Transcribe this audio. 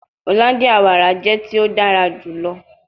Hollandia wara jẹ ti o dara julọ